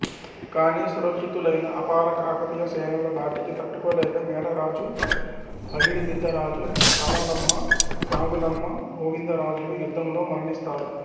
కాని సుశిక్షితులైన అపార కాకతీయ సేనల ధాటికి తట్టుకోలేక మేడరాజు పగిడిద్దరాజు సారలమ్మ నాగులమ్మ గోవింద రాజులు యుద్ధములో మరణిస్తారు